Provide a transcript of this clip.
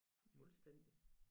Fuldstændig